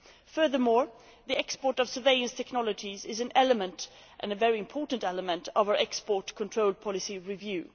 Furthermore, the export of surveillance technologies is an element and a very important element of our export control policy review.